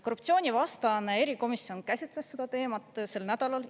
Korruptsioonivastane erikomisjon käsitles seda teemat sel nädalal.